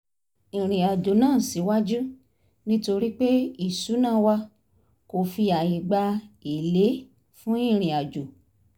ìrìn àjò náà síwájú nítorí pé ìṣuná wa kò fi àyè gba èlé fún ìrìnàjò